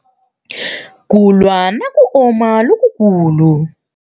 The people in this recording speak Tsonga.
Ku lwa na ku oma lokukulu.